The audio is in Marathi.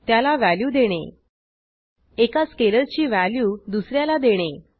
त्याला व्हॅल्यू देणे एका स्केलरची व्हॅल्यू दुस याला देणे